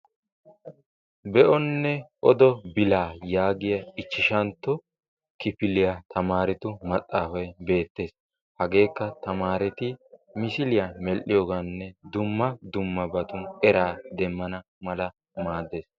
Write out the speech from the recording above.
Be'onne odo bilaa yaagiya ichchantto kifiliya tamaretu maxaafay beettes. Hagekka tamareti misiliya mell''iyooganne dumma dummabatun era demmana mala maaddes.